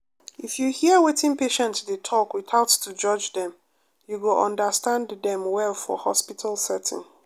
if you hear wetin patient dey talk without to judge dem you go understand dem well for hospital setting.